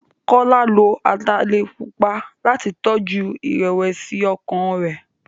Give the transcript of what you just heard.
Kọ́lá lo ataalẹ̀ pupa láti tọjú ìrẹ̀wẹ̀sí-ọkàn rẹ̀.